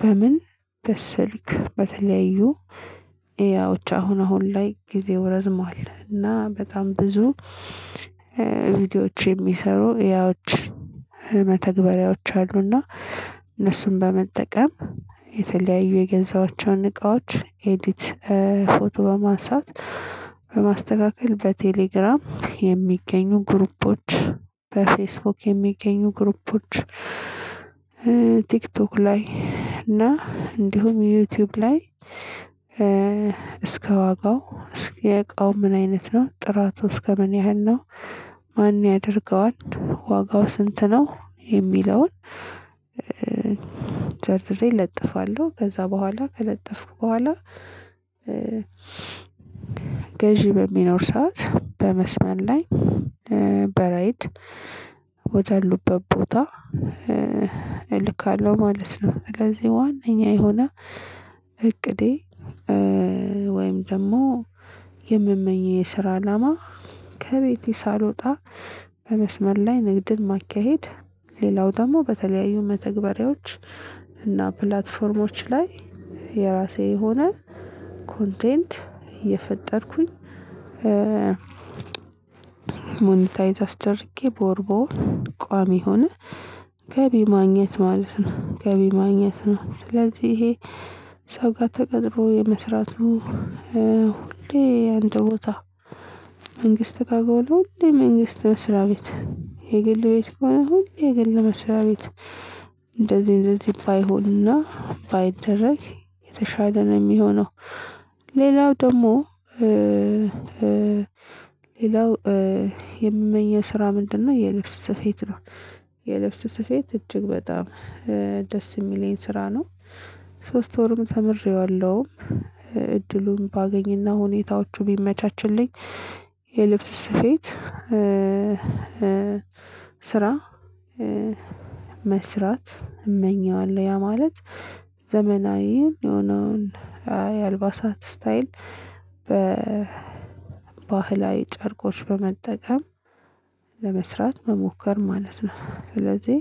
በምን በስልክ በተለያዩ ያዎች አሁን አሁን ላይ ጊዜው ረዝሟል እና በጣም ብዙ ቪዲዮዎች የሚሰሩ ኤአይዎች መተግበሪያዎች አሉና እነሱን በመጠቀም የተለያዩ የገዛዋቸውን እቃዎች ኤዲት ፎቶ በማንሳት በማስተካከል በቴሌግራም የሚገኙ ግሩፖች በፌስቡክ የሚገኙ ግሩፖች ቲክቶክ ላይ እና እንዲሁም ዩቲዩብ ላይ እስከ ዋጋው እስከ የእቃው ምን አይነት ነው ጥራቱ እስከ ምን ያህል ነው? ማን ያደርገዋል? ዋጋው ስንት ነው? የሚለውን ዘርዝሬ እለጥፋለሁ ከዛ በኋላ ከለጠፍኩ በኋላ ገዢ በሚኖር ሰዓት በመስመር ላይ በራይድ ወደአሉበት ቦታ እልካለሁ ማለት ነው። ስለዚህ ዋነኛ የሆነ እቅዴ ወይም ደግሞ የምመኘው የስራ አላማ ከቤቴ ሳልወጣ በመስመር ላይ ንግድን ማካሄድ። ሌላው ደግሞ በተለያዩ መተግበሪያዎች እና ፕላትፎርሞች ላይ የራሴ የሆነ ኮንቴንት እየፈጠርኩኝ ሞኒታይዝ አስደርጌ በወር በወር ቋሚ የሆነ ገቢ ማግኘት ማለት ነው። ገቢ ማግኘት ነው። ስለዚህ ይሄ ሰው ጋር ተቀጥሮ የመስራቱ ሁሌ አንድ ቦታ መንግስት በጋር ሆኖ ሁሌ መንግስት መስሪያ ቤት የግል ቤት ከሆነ ሁሌ የግል መስሪያ ቤት እንደዚህ እንደዚህ ባይሆንና ባይደረግ የተሻለ ነው የሚሆነው። ሌላው ደግሞ ሌላው የምመኘው ስራ ምንድነው? የልብስ ስፌት ነው። የልብስ ስፌት እጅግ በጣም ደስ የሚለኝ ስራ ነው። ሶስት ወርም ተምሬዋለሁ እድሉን ባገኝና ሁኔታዎቹ ቢመቻቹልኝ የልብስ ስፌት ስራ መስራት እመኘዋለሁ ያ ማለት ዘመናዊው የሆነውን የአልባሳት ስታይል በባህላዊ ጨርቆች በመጠቀም ለመስራት መሞከር ማለት ነው። ስለዚህ